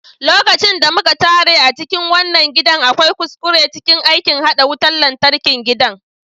Lokacin da muka tare a cikin wannan gidan, akwai kuskure cikin aikin haɗa wutan lantarkin gidan.